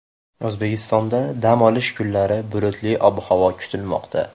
O‘zbekistonda dam olish kunlari bulutli ob-havo kutilmoqda.